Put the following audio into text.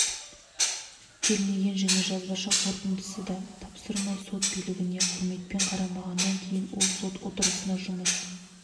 келмеген және жазбаша қорытындысын да тапсырмай сот билігіне құрметпен қарамаған кейін ол сот отырыстарына жұмыс